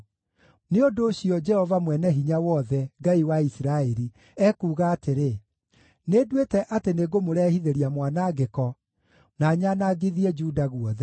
“Nĩ ũndũ ũcio, Jehova Mwene-Hinya-Wothe, Ngai wa Isiraeli, ekuuga atĩrĩ: Nĩnduĩte atĩ nĩngũmũrehithĩria mwanangĩko, na nyanangithie Juda guothe.